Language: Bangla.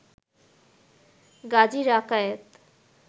গাজী রাকায়েত